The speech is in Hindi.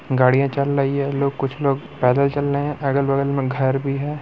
गाड़िया चल रही है। लोग कुछ लोग पैदल चल रहे है। अगल-बगल में घर भी है।